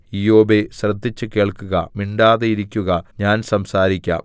ഇയ്യോബേ ശ്രദ്ധിച്ചു കേൾക്കുക മിണ്ടാതെയിരിക്കുക ഞാൻ സംസാരിക്കാം